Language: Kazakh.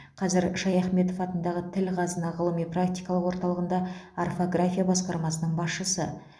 қазір шаяхметов атындағы тіл қазына ғылыми практикалық орталығында орфография басқармасының басшысы